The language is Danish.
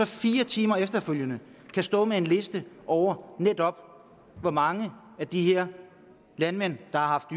fire timer kan stå med en liste over netop hvor mange af de her landmænd der har haft